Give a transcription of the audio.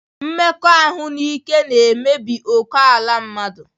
Mmekọahụ n'ike na-emebi ókèala mmadụ